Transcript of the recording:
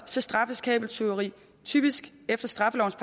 så straffes kabeltyveri typisk efter straffelovens